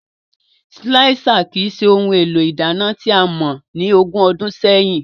Silạisa kii ṣe ohun élo ìdana tià mọ ni ógùn ọdùn sẹyin.